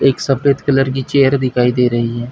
एक सफेद कलर की चेयर दिखाई दे रही है।